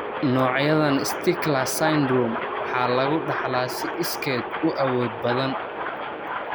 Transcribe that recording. Noocyadan Stickler Syndrome waxaa lagu dhaxlaa si iskeed u awood badan.